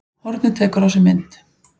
Hornið tekur á sig mynd